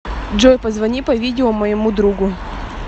джой позвони по видео моему другу